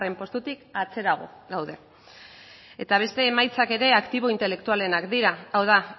postutik atzerago gaude eta beste emaitzak ere aktibo intelektualenak dira hau da